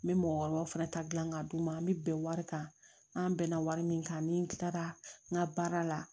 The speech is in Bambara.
N bɛ mɔgɔkɔrɔbaw fɛnɛ ta dilan ka d'u ma an bɛ bɛn wari kan an bɛnna wari min kan ni n tilara n ka baara la